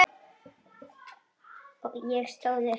Ég stóð upp.